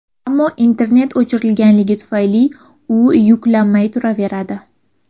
Ammo internet o‘chirilgani tufayli, u yuklanmay turaveradi.